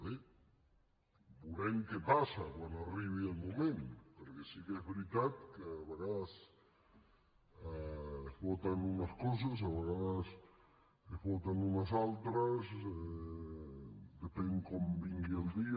bé veurem què passa quan arribi el moment perquè sí que és veritat que a vegades es voten unes coses a vegades se’n voten unes altres depèn de com vingui el dia